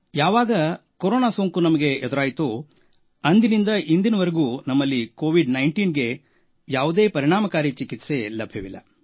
ಯಾವಾಗ ಕೊರೋನಾ ಸೋಂಕು ನಮಗೆ ಎದುರಾಯಿತೋ ಅಂದಿನಿಂದ ಇಂದಿನವರೆಗೂ ನಮ್ಮಲ್ಲಿ ಕೋವಿಡ್19 ಗೆ ಯಾವುದೇ ಪರಿಣಾಮಕಾರಿ ಚಿಕಿತ್ಸೆ ಲಭ್ಯವಿಲ್ಲ